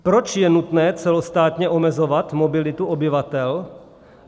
Proč je nutné celostátně omezovat mobilitu obyvatel?